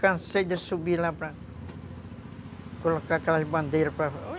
Cansei de subir lá para colocar aquelas bandeiras.